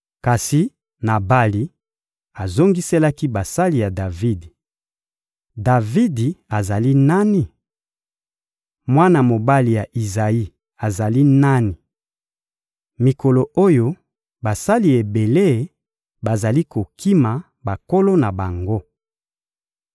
Kasi Nabali azongiselaki basali ya Davidi: «Davidi azali nani? Mwana mobali ya Izayi azali nani? Mikolo oyo, basali ebele bazali kokima bankolo na bango.